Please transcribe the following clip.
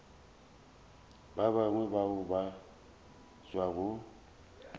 ba bangwe bao ba tšwago